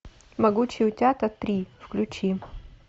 могучие утята три включи